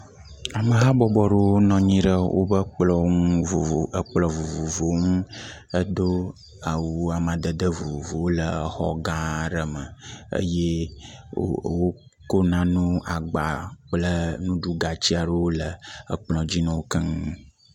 Ameha bɔbɔ aɖewo nɔ anyi ɖe woƒe kplɔ̃ ŋu kplɔ̃ vovovowo ŋu edo awu amadede vovovowo le xɔ gã aɖe me eye wo wokɔ nanewo, agba kple nuɖugati aɖewo le kplɔ̃ dzi na wo keŋ.